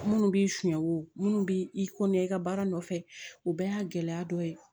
Minnu b'i suɲɛ wo minnu bɛ i ko n'i ka baara nɔfɛ o bɛɛ y'a gɛlɛya dɔ ye